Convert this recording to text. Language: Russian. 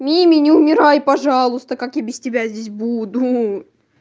мими не умирай пожалуйста как я без тебя здесь буду